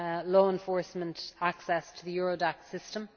law enforcement access to the Eurodac system.